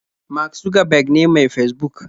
Mark Zuckerberg ne mai Fesbuk